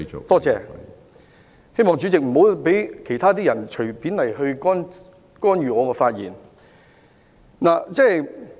多謝，希望主席不要讓其他人隨便干預我的發言。